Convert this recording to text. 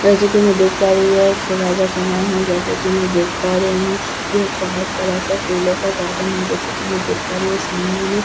जैसे कि मैं देख पा रही हूं यह एक सुबह का समय है जैसे कि मैं देख पा रही हूं यह एक बहुत बड़ा सा फूलों का गार्डन है जैसे कि मैं देख पा रही हूं सामने में गेंदा--